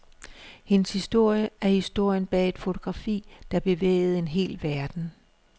Hendes historie er historien bag et fotografi, der bevægede en hel verden.